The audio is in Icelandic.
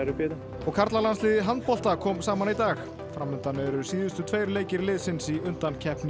og karlalandsliðið í handbolta kom saman í dag fram undan eru síðustu tveir leikir liðsins í undankeppni